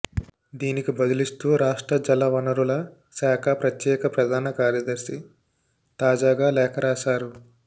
దీనికి బదులిస్తూ రాష్ట్ర జలవనరుల శాఖ ప్రత్యేక ప్రధాన కార్యదర్శి తాజాగా లేఖ రాశారు